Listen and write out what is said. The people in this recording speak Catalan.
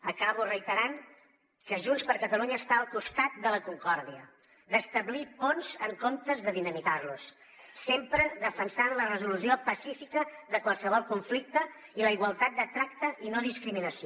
acabo reiterant que junts per catalunya està al costat de la concòrdia d’establir ponts en comptes de dinamitar los sempre defensant la resolució pacífica de qualsevol conflicte i la igualtat de tracte i no discriminació